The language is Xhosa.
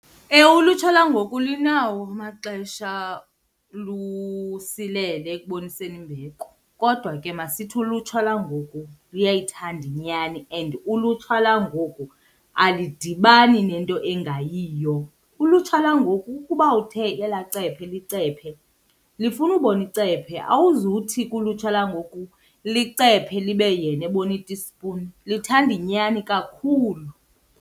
Ewe, ulutsha langoku linawo amaxesha lusilele ekuboniseni imbeko. Kodwa ke masithi ulutsha langoku luyayithanda nyani and ulutsha langoku alidibani nento engayiyo. Ulutsha langoku ukuba uthe elaa cephe licephe, lifuna ubona icephe. Awuzuthi kulutsha langoku licephe libe yena ebona itispuni, lithanda inyani kakhulu.